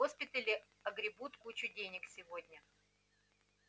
госпитали огребут кучу денег сегодня